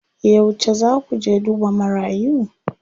Yauce zaa ku je duba marayu?